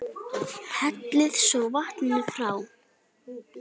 Hellið svo vatninu frá.